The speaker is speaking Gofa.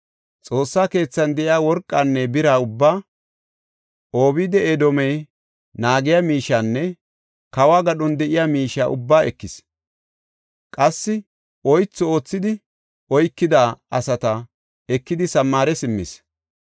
Xoossa keethan de7iya worqanne bira ubbaa, Obeed-Edoomey naagiya miishiyanne kawo gadhon de7iya miishiya ubbaa ekis; qassi oythu oothidi oykida asata ekidi Samaare simmis.